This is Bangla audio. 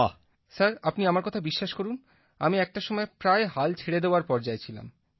প্রদীপজি স্যার আপনি আমার কথা বিশ্বাস করুন আমি একটা সময় প্রায় হাল ছেড়ে দেওয়ার পর্যায়ে ছিলাম